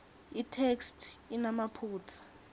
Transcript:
itheksthi inemaphutsa